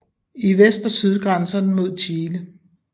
I vest og syd grænser den mod Chile